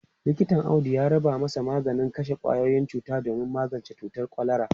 Likitan Audu ya rubuta mashi maganin kashe kwayoyin cuta domin magance cutar kwalara.